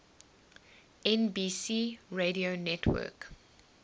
nbc radio network